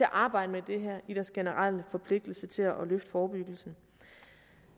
arbejde med det her i deres generelle forpligtelse til at løfte forebyggelsen